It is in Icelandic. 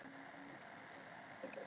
Asael, hver er dagsetningin í dag?